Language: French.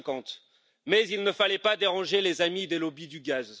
2050. Mais il ne fallait pas déranger les amis des lobbies du gaz.